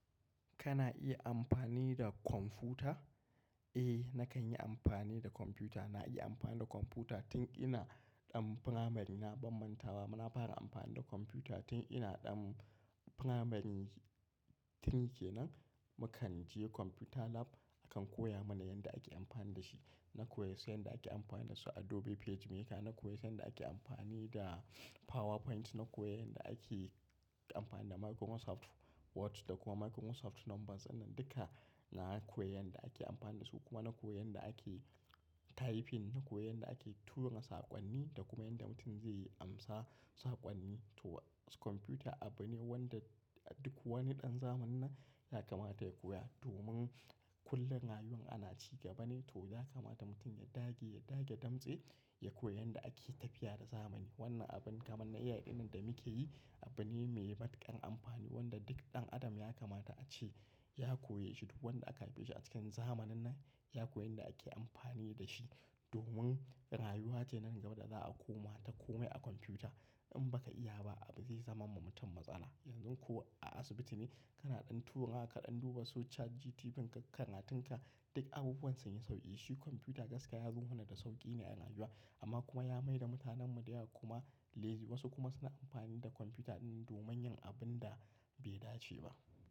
Kana iya amfani da kwamfuta? Eh, nakan yi amfani da kwamfuta. Na iya amfani da kwamfuta tun ina ɗan firamari. Na bam manta ba, na fara amfani da kwamfuta tun ina ɗan firamari, three kenan. Mukan je computer lab, akan koya mana yanda ake amfani da shi. Na koya sai yanda ake amfani da su Adobe PageMaker, na koya yanda ake amfani da PowerPoint, na koya yanda ake amfani da Microsoft Word, da kuma Microsoft Numbers. Wanna duka, na koya yanda ake amfani da su. Kuma na koya yanda ake typing, na koya yanda ake tura saƙonni da kuma yanda mutum zai amsa, saƙonni. To kwamfuta abu ne wanda duk wani ɗan zamanin, nan yakamata ya koya, domin kullum rayuwan ana ci gaba ne. To yakamata mutum ya dage, ya dage damtse, ya koya yanda ake tafiya da zamani. Wannan abin kamar na AI ɗinnan da muke yi, abu ne mai matuƙar amfani wanda duk ɗan adam yakamata a ce ya koya shi. Duk wanda aka haife shi a cikin zamanin nan, ya koya yanda ake amfani da shi. Domin rayuwa ce nan gaba da za a koma ta. Komai a kwamfuta, in baka iya ba abu zai zama ma mutum matsala. Yanzu ko a asibiti ne kana ɗan tura, kaɗan duba soshiat, GTBank kana tinka, duk abubuwan sun yi sauƙi. Shi kwamfuta gaskiya yazo huna da sauƙi ne a rayuwa, amma kuma ya maida mutanen mu da ya kuma lazy. Wasu kuma suna amfani da kwamfuta ɗinnan domin yin abun da bai dace ba.